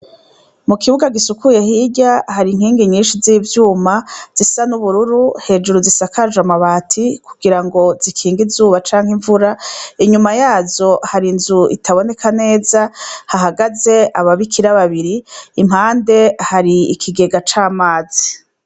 Mu kibuga gisukuye hirya, har' inkingi nyinshi z'ivyuma zisa n' ubururu, hejuru zisakaj' amabati kugirango zikinge izuba cank' imvura, inyuma yazo har' inz' itaboneka neza, hahagaz' ababikira babiri, impande har' ikigega c' amazi.